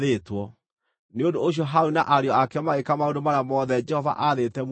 Nĩ ũndũ ũcio Harũni na ariũ ake magĩĩka maũndũ marĩa mothe Jehova aathĩte Musa mekwo.